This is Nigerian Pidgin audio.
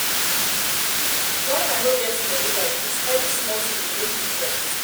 wen i no get money like dis every small thing dey make me vex me